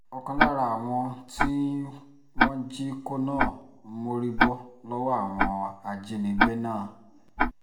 ọ̀kan lára àwọn tí wọ́n jí kó náà mórí bọ́ lọ́wọ́ àwọn ajínigbé náà